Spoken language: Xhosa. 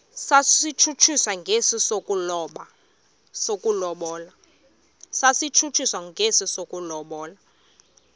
satshutshiswa njengesi sokulobola